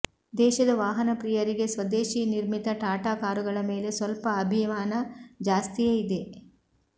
ದೇಶದ ವಾಹನ ಪ್ರಿಯರಿಗೆ ಸ್ವದೇಶಿ ನಿರ್ಮಿತ ಟಾಟಾ ಕಾರುಗಳ ಮೇಲೆ ಸ್ವಲ್ಪ ಅಭಿಮಾನ ಜಾಸ್ತಿಯೇ ಇದೆ